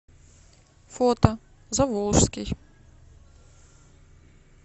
фото заволжский